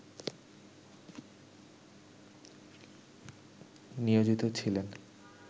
নিয়োজিত ছিলেন